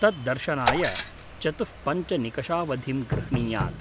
तत् दर्शनाय चतुःपञ्चनिकषावधिं गृह्णीयात्।